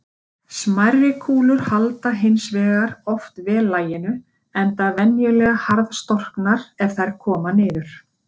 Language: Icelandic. Smærri kúlur halda hins vegar oft vel laginu, enda venjulega harðstorknar er þær koma niður.